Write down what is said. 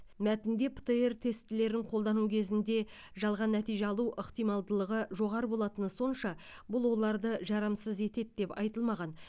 мәтінде птр тестілерін қолдану кезінде жалған нәтиже алу ықтималдығы жоғары болатыны сонша бұл оларды жарамсыз етеді деп айтылмаған